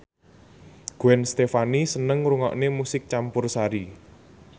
Gwen Stefani seneng ngrungokne musik campursari